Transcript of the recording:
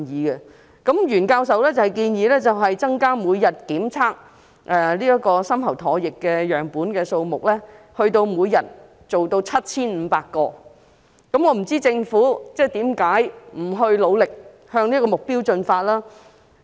袁教授建議把每天檢測的深喉唾液樣本數目增加至 7,500 個，我不知道政府為何沒有努力朝着這個目標進發。